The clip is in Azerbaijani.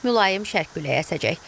Mülayim şərq küləyi əsəcək.